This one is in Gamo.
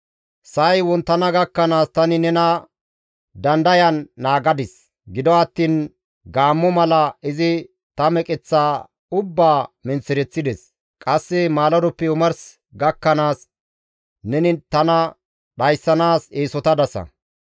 Sa7ay wonttana gakkanaas tani nena dandayan naagadis; Gido attiin gaammo mala ta meqeththaa ubbaa menththereththides. Qasse maaladoppe omarsi gakkanaas neni tana dhayssanaas eesotadasa.